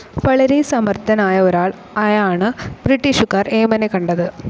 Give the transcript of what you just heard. വളരെ സമർത്ഥനായ ഒരാൾ ആയാണ് ബ്രിട്ടീഷുകാർ ഏമാനെ കണ്ടത്.